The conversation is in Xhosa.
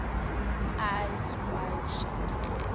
eyes wide shut